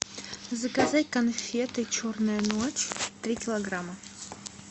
заказать конфеты черная ночь три килограмма